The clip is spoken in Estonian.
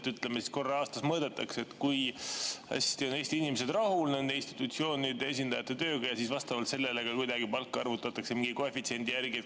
Näiteks et, ütleme, korra aastas mõõdetakse, kui hästi on Eesti inimesed rahul nende institutsioonide esindajate tööga ja siis vastavalt sellele kuidagi palk arvutatakse mingi koefitsiendi järgi.